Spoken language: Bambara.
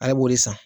Ale b'o de san